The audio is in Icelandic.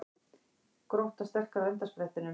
Grótta sterkari á endasprettinum